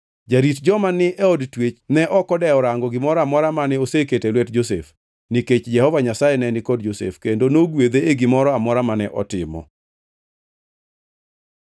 Jarit joma ni e od twech ne ok odewo rango gimoro amora mane oseketo e lwet Josef, nikech Jehova Nyasaye ne ni kod Josef kendo nogwedhe e gimoro amora mane otimo.